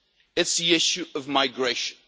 It's the issue of migration.